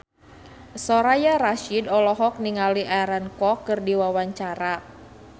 Soraya Rasyid olohok ningali Aaron Kwok keur diwawancara